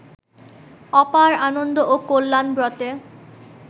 অপার আনন্দ ও কল্যাণব্রতে